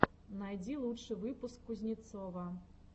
найди лучший выпуск кузнецова